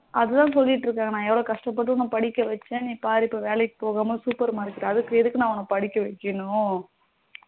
அதான் சொல்லிட்டு இருக்காங்க நா உண்ண எவளோ கஷ்ட பட்டு உண்ண படிக்க வச்சேன் நீ பாரு இப்போ வேலைக்கு போகாம super market அதுக்கு எதுக்கு நா உண்ண படிக்க வைக்கணும்